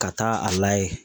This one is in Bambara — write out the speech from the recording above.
Ka taa a layɛ.